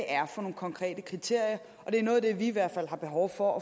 er for nogle konkrete kriterier og det er noget af det vi i hvert fald har behov for